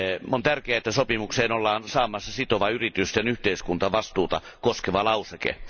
On tärkeää, että sopimukseen ollaan saamassa sitova yritysten yhteiskuntavastuuta koskeva lauseke.